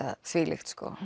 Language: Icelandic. það þvílíkt